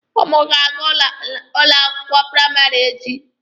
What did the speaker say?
Ụnụ ga-aga n'ụlọ akwụkwọ praịmarị a echi.